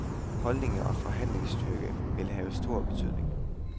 Holdninger og forhandlingsstyrke vil have stor betydning.